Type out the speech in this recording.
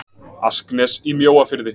asknes í mjóafirði